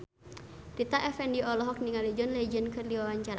Rita Effendy olohok ningali John Legend keur diwawancara